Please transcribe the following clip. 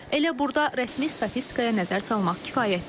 Elə burda rəsmi statistikaya nəzər salmaq kifayətdir.